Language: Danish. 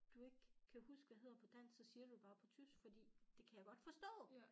Du ikke kan huske hvad hedder på dansk så siger du det bare på tysk for det kan jeg godt forstå